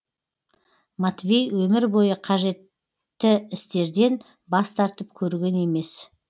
матвей өмір бойы қажетті істерден бас тартып көрген емес